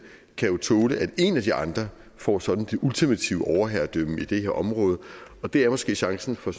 kan tåle at en af de andre får sådan det ultimative overherredømme i det her område og det er måske chancen for